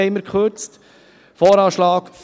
Deswegen kürzten wir.